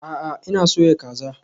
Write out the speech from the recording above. A'a, ina soya kaza